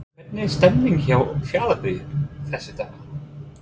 Hvernig er stemningin hjá Fjarðabyggð þessa dagana?